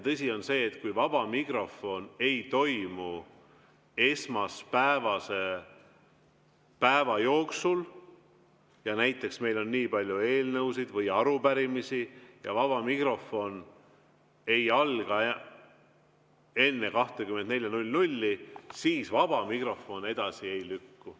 Tõsi on see, et kui vaba mikrofon ei toimu esmaspäevase päeva jooksul, näiteks meil on nii palju eelnõusid või arupärimisi ja vaba mikrofon ei alga enne 24.00, siis vaba mikrofon edasi ei lükku.